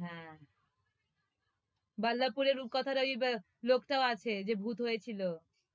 হ্যাঁ বল্লপুরের রূপকথার ওই বে~ লোকটাও আছে যে ভূত হয়েছিল